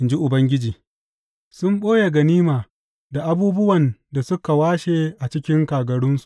in ji Ubangiji, sun ɓoye ganima da abubuwan da suka washe a cikin kagarunsu.